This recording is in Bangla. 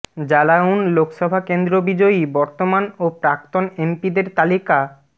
জালাউন লোকসভা কেন্দ্র বিজয়ী বর্তমান ও প্রাক্তন এমপিদের তালিকা